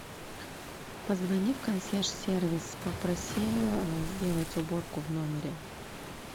позвони в консьерж сервис попроси сделать уборку в номере